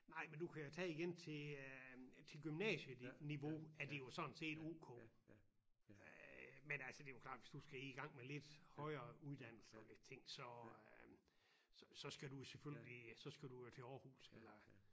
Nej men du kan jo tage igen til øh til gymnasieniveau er det jo sådan set O K øh men altså det jo klart hvis du skal i gang med lidt højere uddannelser ting så øh så skal du jo selvfølgelig så skal du til Aarhus eller